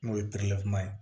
N'o ye kuma ye